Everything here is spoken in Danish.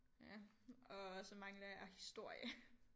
Ja og så mangler jeg historie